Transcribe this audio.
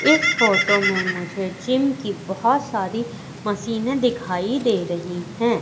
इस फोटो में मुझे जिम की बहुत सारी मशीनें दिखाई दे रही हैं।